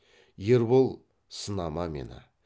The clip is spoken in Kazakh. ербол сынама мені